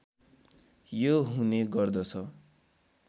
यो हुने गर्दछ